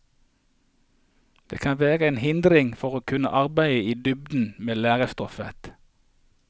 Det kan være en hindring for å kunne arbeide i dybden med lærestoffet.